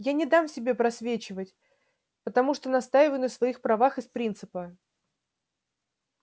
я не дам себя просвечивать потому что настаиваю на своих правах из принципа